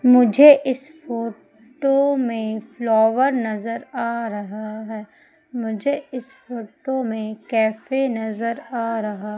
मुझे इस फोटो में फ्लावर नजर आ रहा हैं मुझे इस फोटो में कैफे नजर आ रहा --